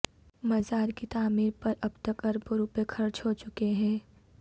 مزار کی تعیمر پر اب تک اربوں روپے خرچ ہو چکے ہیں